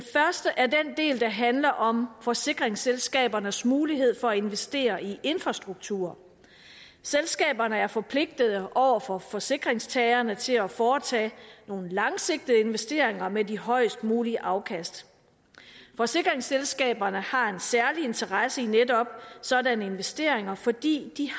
del der handler om forsikringsselskabernes mulighed for at investere i infrastruktur selskaberne er forpligtede over for forsikringstagerne til at foretage nogle langsigtede investeringer med de højest mulige afkast forsikringsselskaberne har en særlig interesse i netop sådanne investeringer fordi de